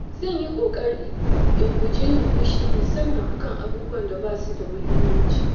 Zan yi ƙoƙari in guji yin fushi musamman a kan abubuwan da ba su da muhimmanci.